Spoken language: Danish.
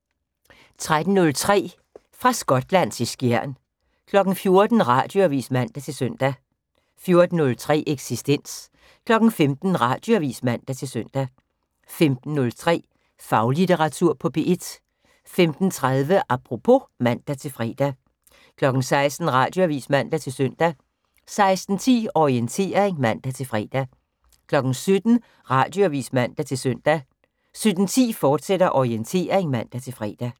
13:03: Fra Skotland til Skjern 14:00: Radioavis (man-søn) 14:03: Eksistens 15:00: Radioavis (man-søn) 15:03: Faglitteratur på P1 15:30: Apropos (man-fre) 16:00: Radioavis (man-søn) 16:10: Orientering (man-fre) 17:00: Radioavis (man-søn) 17:10: Orientering, fortsat (man-fre)